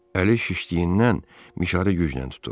Əli şişdiyindən mişarı güclə tutur.